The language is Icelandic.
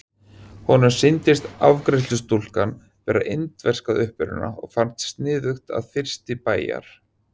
Honum sýndist afgreiðslustúlkan vera indversk að uppruna og fannst sniðugt að fyrsti bæjar